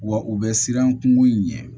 Wa u bɛ siran kungo in ɲɛ